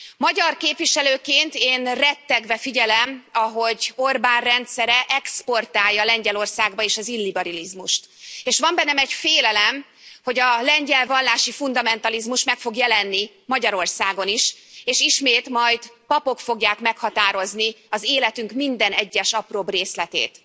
Magyar képviselőként én rettegve figyelem, ahogy Orbán rendszere exportálja Lengyelországba az illiberalizmust, és van bennem egy félelem, hogy a lengyel vallási fundamentalizmus meg fog jelenni Magyarországon is, és ismét majd papok fogják meghatározni az életünk minden egyes apróbb részletét.